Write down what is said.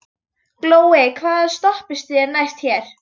Glói, hvaða stoppistöð er næst mér?